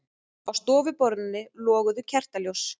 Á stofuborðinu loguðu kertaljós.